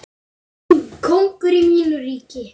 Kóngur í mínu ríki.